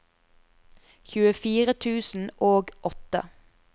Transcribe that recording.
tjuefire tusen og åtte